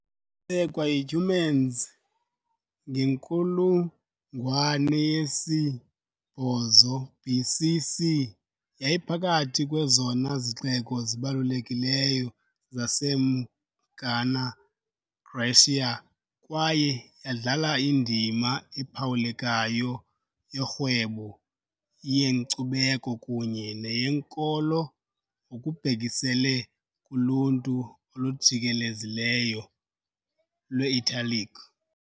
Yasekwa yiCumans ngenkulungwane yesi-8 BC.C, yayiphakathi kwezona zixeko zibalulekileyo zaseMagna Graecia kwaye yadlala indima ephawulekayo yorhwebo, yenkcubeko kunye neyenkolo ngokubhekiselele kuluntu olujikelezileyo lwe-Italic.